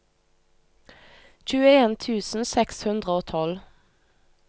tjueen tusen seks hundre og tolv